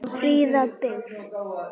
Fríða byggð.